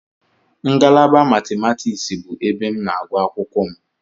Ngalaba Matimatiksị bụ ebe m na-agụ akwụkwọ m.